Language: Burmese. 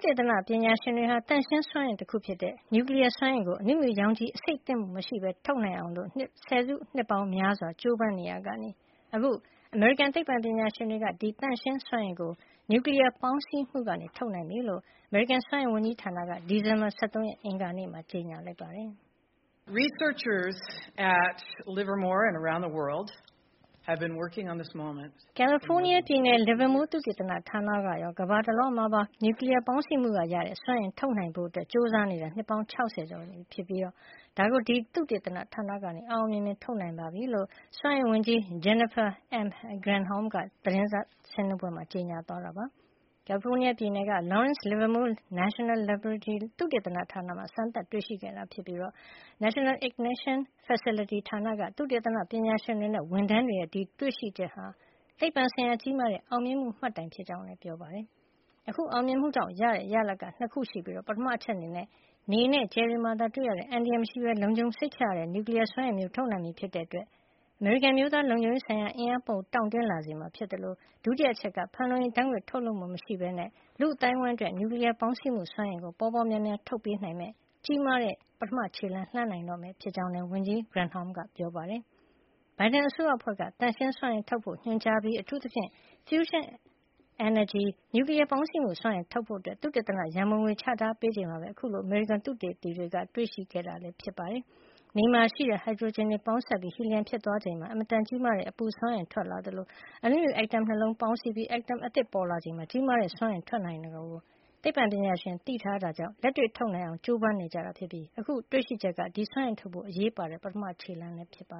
တေသနပညာရှင်တွေဟာ သန့်ရှင်းစွမ်းအင်တခုဖြစ်တဲ့ နျူကလီးယားစွမ်းအင်ကို အနုမြူရောင်ခြည်အဆိပ်သင့်မှု မရှိပဲ ထုတ်နိုင်အောင် ဆယ်စုနှစ်ပေါင်းများစွာ ကြိုးစားနေရာကနေ အခု အမေရိကန်သိပ္ပံပညာရှင်တွေက ဒီသန့်ရှင်းစွမ်းအင်ကို နျူကလီးယားပေါင်းစည်းမှုကနေ ထုတ်နိုင်ပြီ လို့ အမေရိကန်စွမ်းအင်ဝန်ကြီးဌာနက ဒီဇင်ဘာ ၁၃ ရက် အင်္ဂါနေ့မှာ ကြေညာလိုက်ပါတယ်။ "ကယ်လီဖိုးနီးယားပြည်နယ် Livermore သုတေသနဌာနကရော ကမ္ဘာတလွှားမှာပါ နျူကလီယား ပေါင်းစည်းမှုကရတဲ့ စွမ်းအင် ထုတ်နိုင်ဖို့ ကြိုးစားနေတာ နှစ်ပေါင်း ၆၀ ကျော်နေပြီဖြစ်ပြီး အခု ဒါကို ဒီသုတေသနဌာနက အောင်အောင်မြင်မြင် ထုတ်နိုင်ပါပြီ။” လို့ စွမ်းအင်ဝန်ကြီး Jennifer M. Granholm က သတင်းစာရှင်းလင်းပွဲမှာ ကြေညာခဲ့တာပါ။ ကယ်လီဖိုးနီးယားပြည်နယ်က Lawrence Livermore National Laboratory သုတေသနဌာနမှာ စမ်းသပ်တွေ့ရှိခဲ့တာ ဖြစ်ပြီး National Ignition Facility ဌာနက သုတေသနပညာရှင်တွေနဲ့ ဝန်ထမ်းတွေရဲ့ ဒီတွေ့ရှိချက်ဟာ သိပ္ပွံဆိုင်ရာ ကြီးမားတဲ့ အောင်မြင်မှုမှတ်တိုင် ဖြစ်ကြောင်းလည်း ပြောပါတယ်။ အခုအောင်မြင်မှုကြောင့်ရတဲ့ ရလဒ်က ၂ ခု ရှိပြီး၊ ပထမအချက်က နေနဲ့ ကြယ်တွေမှာသာတွေ့ရတဲ့ အန္တရာယ်မရှိပဲ လုံခြုံစိတ်ချရတဲ့ နျူကလီးယားစွမ်းအင်မျိုးကို ထုတ်နိုင်ပြီဖြစ်တဲ့အတွက် အမေရိကန်အမျိုးသားလုံခြုံရေးဆိုင်ရာမှာ အင်အားပိုတောင့်တင်းလာစေမှာ ဖြစ်သလိုဒုတိယအချက်က ဖန်လုံအိမ်ဓါတ်ငွ့ထုတ်လွှတ်မှုမရှိပဲ လူ့အသိုင်းဝိုင်းအတွက် နျူကလီးယားပေါင်းစည်းမှုစွမ်းအင်ကို ပေါပေါများများ ထုတ်ပေးနိုင်မယ့် ကြီးမားတဲ့ ပထမခြေလှမ်းကို လှမ်းနိုင်တော့မှာ ဖြစ်ကြောင်း ဝန်ကြီး Granholm က ပြောပါတယ်။ ဘိုင်ဒန်အစိုးရအဖွဲ့က သန့်ရှင်းစွမ်းအင်ထုတ်ဖို့ ညွှန်ကြားပြီး၊ အထူးသဖြင့် fusion energy နျူကလီးယာပေါင်းစည်းမှုစွမ်းအင်ထုတ်ဖို့ သုတေသနရံပုံငွေ ချထားပေးချိန်မှာပဲ အခုလို အမေရိကန်သုတေသီတွေ တွေ့ရှိခဲ့တာ ဖြစ်ပါတယ်။ နေမှာရှိတဲ့ ဟိုက်ဒရိုဂျင်တွေ ပေါင်းစပ်ပြီး ဟီလီယမ်ဖြစ်သွားချိန်မှာ အင်မတန်ကြီးမားတဲ့ အပူစွမ်းအင် ထွက်လာသလို အနုမြူ - အက်တမ် ၂ လုံးပေါင်းစည်းပြီး အက်တမ်အသစ် ပေါ်လာချိန်မှာ ကြီးမားတဲ့ စွမ်းအင်ထွက်လာနိုင်တာကို သိပ္ပံပညာရှင်တွေ ဟိုးအရင်ကတည်းကသိထားတာကြောင့်လက်တွေ ထုတ်နိုင်အောင် ၁၉၄၀ ပြည့်လွန်နှစ်တွေ လောက်ကတည်းက ကြိုးစားနေကြတာ ဖြစ်ပြီး အခု တွေ့ရှိချက်က ဒီလိုစွမ်းအင်ထုတ်ဖို့ အရေးပါတဲ့ ပထမခြေလှမ်းလည်း ဖြစ်ပါ